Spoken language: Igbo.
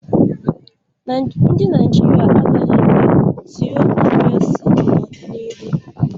Ndi Naijiria agaghị enwe tịokresi na-odina ihụ